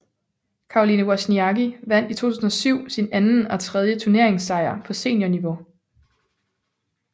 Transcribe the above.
Caroline Wozniacki vandt i 2007 sin anden og tredje turneringssejr på seniorniveau